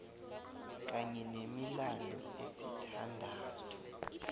kanye nemilandu esithandathu